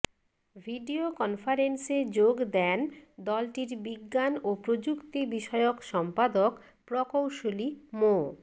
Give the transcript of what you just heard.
video কনফারেন্সে যোগ দেন দলটির বিজ্ঞান ও প্রযুক্তি বিষয়ক সম্পাদক প্রকৌশলী মো